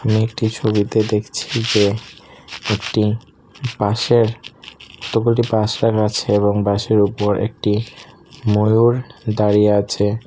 আমি একটি ছবিতে দেখছি যে একটি বাঁশের আছে এবং বাঁশের উপর একটি ময়ূর দাঁড়িয়ে আছে।